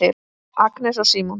Agnes og Símon.